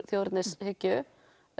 þjóðernishyggju